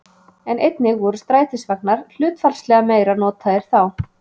En einnig voru strætisvagnar hlutfallslega meira notaðir þá.